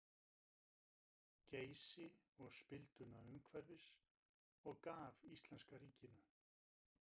Geysi og spilduna umhverfis og gaf íslenska ríkinu.